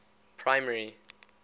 primary